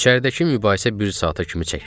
İçəridəki mübahisə bir saata kimi çəkdi.